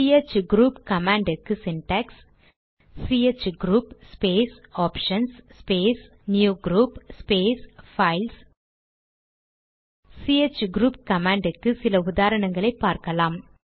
CH group command க்கு syntax ch group space options space new group space files ch group command க்கு சில உதாரணங்களை பார்க்கலாம்